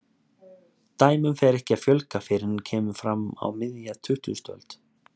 Dæmum fer ekki að fjölga fyrr en kemur fram á miðja tuttugustu öld.